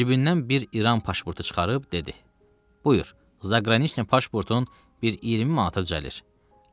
Cibindən bir İran pasportu çıxarıb dedi: Buyur, zaqraniçni pasportun bir 20 manata düzəlir.